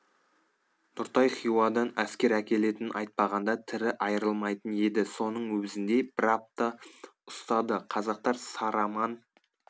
нұртай хиуадан әскер әкелетінін айтпағанда тірі айырылмайтын еді соның өзінде бір апта ұстады қазақтар сараман